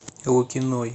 лукиной